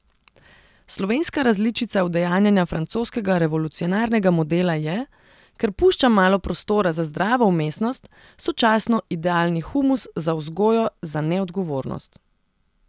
Slovenska različica udejanjanja francoskega revolucionarnega modela je, ker pušča malo prostora za zdravo vmesnost, sočasno idealni humus za vzgojo za neodgovornost.